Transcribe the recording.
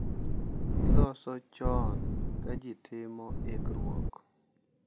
Iloso chon ka ji timo ikruok.